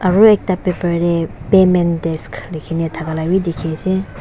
aru ekta paper deh payment desk likhi na thaka lah bi dikhi ase.